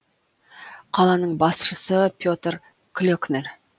қаланың басшысы петер клекнер